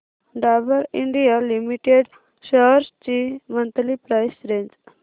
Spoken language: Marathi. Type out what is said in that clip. डाबर इंडिया लिमिटेड शेअर्स ची मंथली प्राइस रेंज